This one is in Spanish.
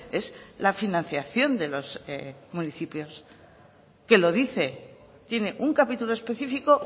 es la financiación de los municipios que lo dice tiene un capítulo específico